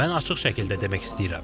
Mən açıq şəkildə demək istəyirəm.